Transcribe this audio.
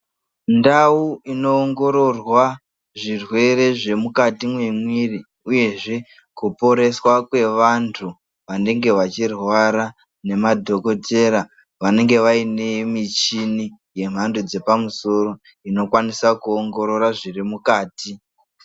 Ndau inoongororwa zvirwere zvemukati mwemwiri uyezve kuporeswa kwevantu vanenge vachirwara nemadhokotera vanenge vaine michini dzemhando yepamusoro inokwanisa kuongorora zviri mukati.